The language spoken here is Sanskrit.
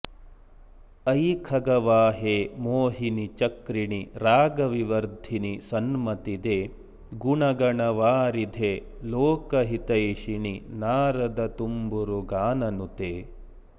अयि खगवाहे मोहिनि चक्रिणि रागविवर्धिनि सन्मतिदे गुणगणवारिधे लोकहितैषिणि नारदतुम्बुरुगाननुते